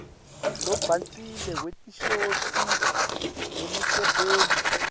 lobhacile wetinshokutsi nemisebenti